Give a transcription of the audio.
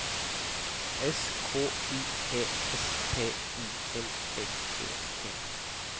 S K U E S P I L L E T